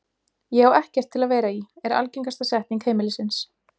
Ég á ekkert til að vera í, er algengasta setning heimilisins.